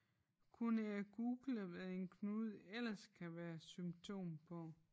Kunne jeg google hvad en knude ellers kan være symptom på